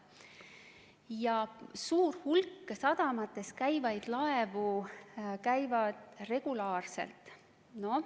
Ja suur hulk sadamates käivaid laevu käib neis regulaarselt.